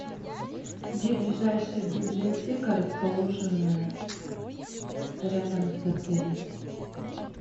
где ближайшая библиотека расположенная рядом с отелем